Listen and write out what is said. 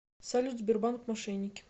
салют сбербанк мошенники